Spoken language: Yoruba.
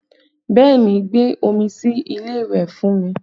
Bẹẹ ni, gbé omi sí ilé ìwẹ̀ fún mi